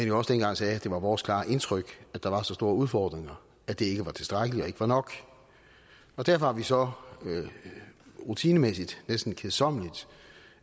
jo også dengang sagde at det var vores klare indtryk at der var så store udfordringer at det ikke var tilstrækkeligt ikke var nok derfor har vi så rutinemæssigt næsten kedsommeligt